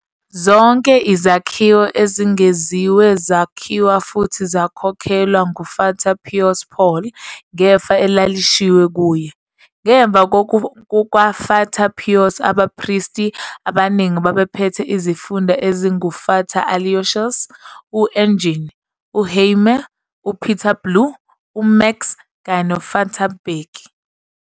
Zonke izakhiwo ezengeziwe zakhiwa futhi zakhokhelwa nguFata Pious Paul ngefa elalishiywe kuye. Ngemva kukaFata Pious abaPristi abaningana babephethe isifunda esinguFata Alousios, u-Eugene, uHemmie, uPeter Blue, uMax kanye noFata Bheki.